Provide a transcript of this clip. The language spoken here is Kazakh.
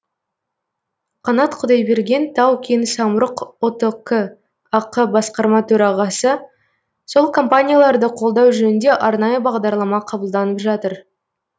қанат құдайберген тау кен самұрық ұтк ақ басқарма төрағасы сол компанияларды қолдау жөнінде арнайы бағдарлама қабылданып жатыр